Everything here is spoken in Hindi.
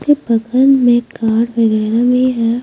के बगल में कार वगैरा भी है।